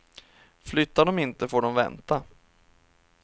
Flyttar de inte får de vänta.